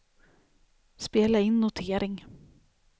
spela in notering